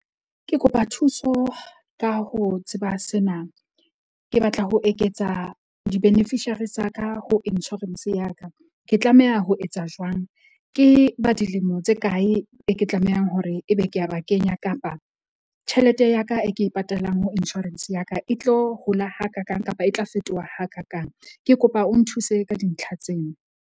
Ke kopa thuso ka ho tseba sena, ke batla ho eketsa di-beneficiary tsa ka ho insurance ya ka. Ke tlameha ho etsa jwang? Ke ba dilemo tse kae e ke tlamehang hore ebe ke a ba kenya, kapa tjhelete ya ka e ke e patalang ho insurance ya ka e tlo hola hakakaang kapa e tla fetoha hakakaang? Ke kopa o nthuse ka dintlha tseo.